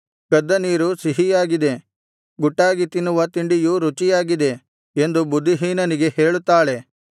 ಕದ್ದ ನೀರು ಸಿಹಿಯಾಗಿದೆ ಗುಟ್ಟಾಗಿ ತಿನ್ನುವ ತಿಂಡಿಯು ರುಚಿಯಾಗಿದೆ ಎಂದು ಬುದ್ಧಿಹೀನನಿಗೆ ಹೇಳುತ್ತಾಳೆ